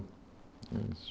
É isso.